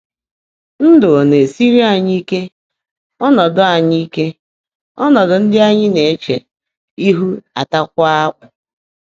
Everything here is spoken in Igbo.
Ndụ́ ọ̀ ná-èsiírí ányị́ íke, ọ́nọ́dụ́ ányị́ íke, ọ́nọ́dụ́ ndị́ ányị́ ná-èche íhu átáákwá ákpụ́?